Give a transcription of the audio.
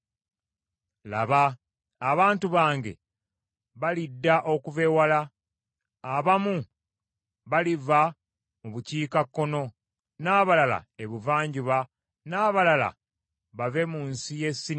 Laba, abantu bange balidda okuva ewala, abamu, baliva mu bukiikakkono n’abalala ebuvanjuba, n’abalala bave mu nsi ye Sinimu.”